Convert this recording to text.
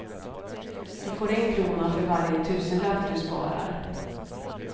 Du får en krona för varje tusenlapp du sparar.